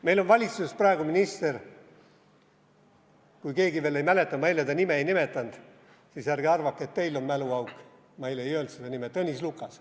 Meil on valitsuses praegu minister – kui keegi veel ei mäleta, ma eile ta nime ei nimetanud, siis ärge arvake, et teil on mäluauk, ma eile ei öelnud seda nime – Tõnis Lukas.